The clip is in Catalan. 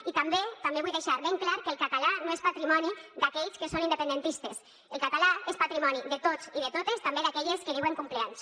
i també també vull deixar ben clar que el català no és patrimoni d’aquells que són independentistes el català és patrimoni de tots i de totes també d’aquelles que diuen cumpleanys